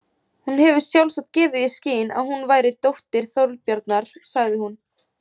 Hún hefur sjálfsagt gefið í skyn að hún væri dóttir Þorbjarnar, sagði hún.